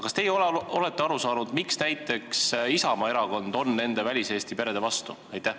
Kas teie olete aru saanud, miks näiteks Isamaa erakond on nende väliseesti perede vastu?